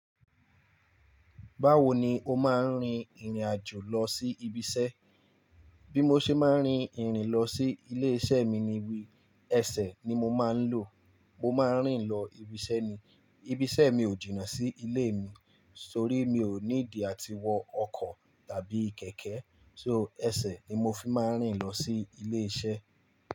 Báwo ni o máa ń rin ìrìn àjò lọ sí ibi iṣẹ́? Bí mo ṣe máa ń rin ìrìn lọ sí ilé iṣẹ́ mi ni wí, ẹsẹ̀ ni mo máa ń lò. Mo máa ń rìn lọ ibi iṣẹ́ ni. Ibi iṣẹ́ mi ò jìnnà sí ilé mi, torí mi ò need àti wọ ọkọ̀ tàbí kẹ̀kẹ́. So, ẹsẹ̀ ni mo fi máa ń rìn lọ sí ilé iṣẹ́.